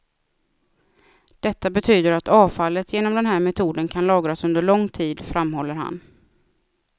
Detta betyder att avfallet genom den här metoden kan lagras under lång tid, framhåller han.